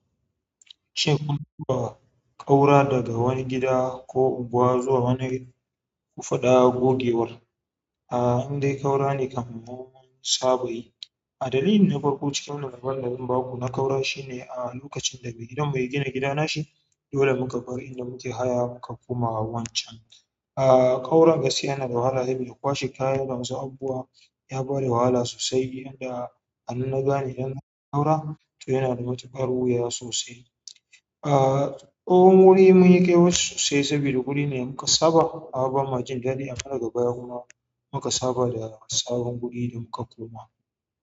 Shin kun taɓa ƙaura daga wani gida ko unguwa zuwa wani ku faɗa gogewar? A, indai ƙaura ne kam mu munsaba yi adalilin na farko cikin labarin da zan baku na ƙaura shine a lokacin da mai gidanmu ya gina gida nashi, dole muka bar inda muke haya muka koma wancan. A, ƙaura gaskiya yana da wahala saboda kwashe kayan damu saboda unguwa ya ba da wahala sosai. Inda anan na gane idan na ƙaura, to yana da matukar wuya sosai. A, tsohon wuri mun yi ƙyawarsu sosai saboda guri ne muka saba. Abin majin daɗin kuma daga baya kuma muka saba da sabon guri da muka koma.